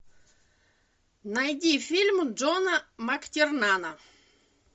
найди фильм джона мактернана